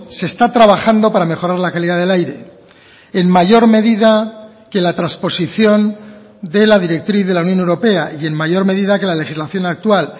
se está trabajando para mejorar la calidad del aire en mayor medida que la transposición de la directriz de la unión europea y en mayor medida que la legislación actual